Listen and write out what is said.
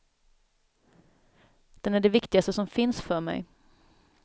Den är det viktigaste som finns för mig.